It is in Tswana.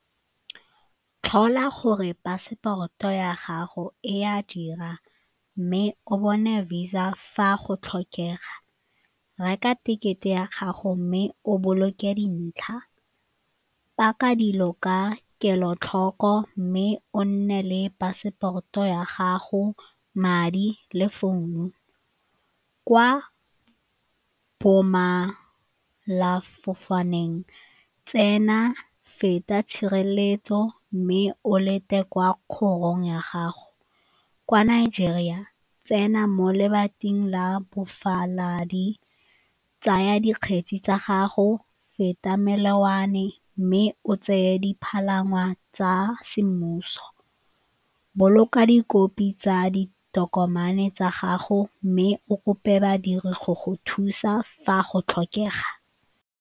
Tlhola gore paseporoto ya gago e a dira mme o bone Visa fa go tlhokega, reka tekete ya gago mme o boloke dintlha, paka dilo ka kelotlhoko mme o nne le passport-o ya gago, madi le founu. Kwa tsena, feta tshireletso mme o lete kwa kgorong ya gago. Kwa Nigeria, tsena mo lebating la tsaya dikgetsi tsa gago, feta melelwane mme o tseye dipalangwa tsa semmuso. Boloka dikopi tsa ditokomane tsa gago mme o kope badiri go go thusa fa go tlhokega.